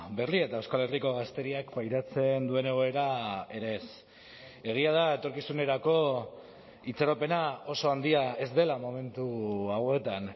berria eta euskal herriko gazteriak pairatzen duen egoera ere ez egia da etorkizunerako itxaropena oso handia ez dela momentu hauetan